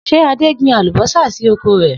S̩e Adé gbin àlùbó̩sà sí oko rè̩?